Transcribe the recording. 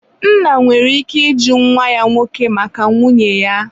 nna nwere ike ịjụ nwa ya nwoke maka nwunye ya.